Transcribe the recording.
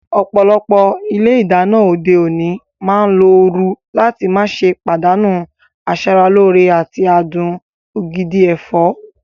Ọ̀pọ̀lọpọ̀ ilé ìdáná òde òní máa ń lo ooru láti má ṣe pàdánù asara lóore àti adùn ògidì ẹ̀fọ́.